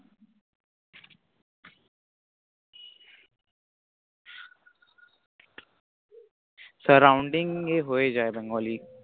Surrounding এ হয়ে যায় Bengali